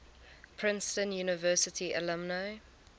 princeton university alumni